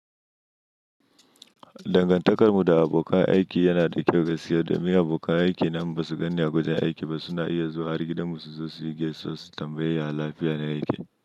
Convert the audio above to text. Dangantakar mu da abokan aiki yana da kyau, gaskiya domin abokan aiki na in ba su gan ni a wajen aiki ba. Su na iya zuwa har gidan mu su zo su yi gesuwa su tambayi yaya lafiya na yake.